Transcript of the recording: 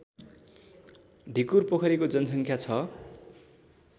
ढिकुरपोखरीको जनसङ्ख्या छ